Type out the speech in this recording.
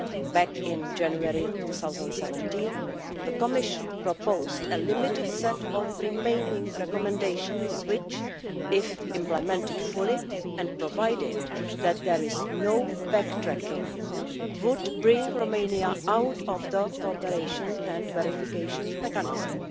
Back in January 2017, the Commission proposed a limited set of remaining recommendations which, if implemented fully and provided that there is no backtracking, would bring Romania out of the Cooperation and Verification Mechanism.